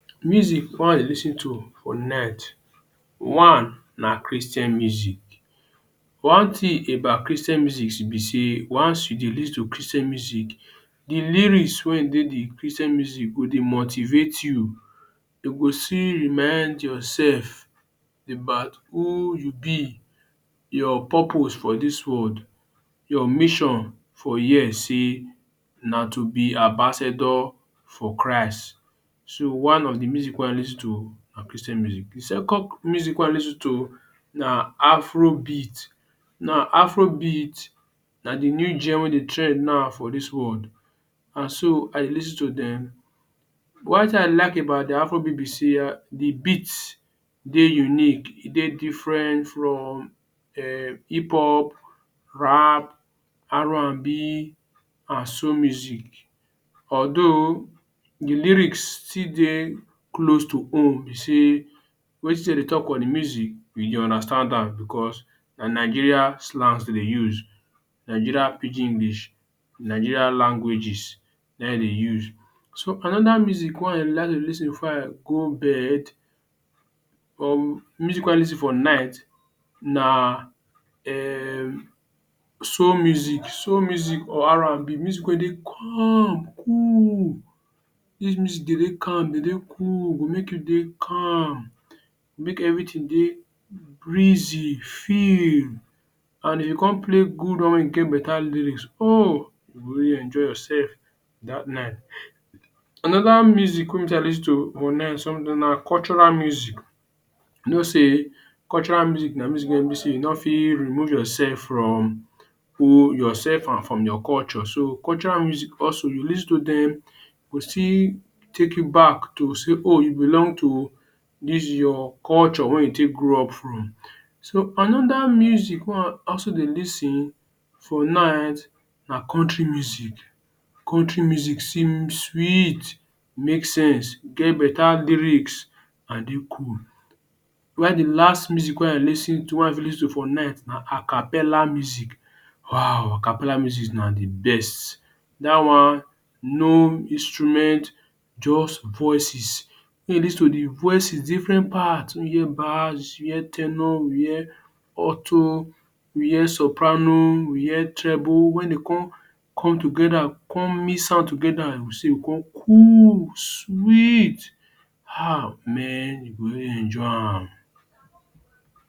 Music wey I dey lis ten to for net one na Christian music, one tin about Christian musics be say once you dey lis ten to Christian musics, di lyrics wen e dey di Christian music go dey motivate you, you go see remind yourself about who you be your purpose for dis world, your mission for here say na to be ambassador for Christ. So one of di musics wey I dey lis ten to, na Christian music. Di second music wey I dey lis ten to na Afrobeat. Now, afrobeat na di new gem wey dey trend now for dis world and I dey lis ten to dem. One tin I like about di afro beat be say, Di beats de unique, dey diffren from hip pop, rap R and B and soul music. Although, di lyrics still dey close to, be say wetin dem dey tok on di music, we dey understand am bicos na Nigeria slangs dem dey use Nigeria pidgin English ,Nigeria languages na im dey dey use. So anoda music wey I like to lis ten b4 I go bed music wey I dey lis ten for night na um soul music, soul music or R and B, music wey dey calm, cool. Dis music dey dey cool, calm go make you dey cool, make everting dey grizzy firm and if you come play good one or one wit betta lyrics, ohhh, you go really enjoy your sef dat night. Anoda music wey be say I dey lis ten to online sometimes na cultural music, you know say cultural music na music wey e bi say you no fit remove your sef from your sef and from your culture, so cultural music also you lis ten to dem go still take you back to say, oh you belong to dis your Culture wey you take grow up from. So anoda music wey I also dey lis ten for night, na country music, country music seem sweet, make sense get betta lyrics and dey cool. While di last music wey I fit lis ten to for night na Acapella musics. Wow, Acapella musics na di best, dat one no instruments, just voices wen you lis ten to di voices diffren parts, wen you hear bars, you hear ten o, you hear auto, you hear soprano, you hear treble, wen dem come come togeda, come mix am togeda, you go see, you go come cool sweet, haah menh. You go really enjoy am.